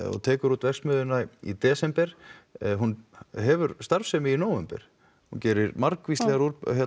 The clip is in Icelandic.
og tekur út verksmiðjuna í desember hún hefur starfsemi í nóvember hún gerir margvíslegar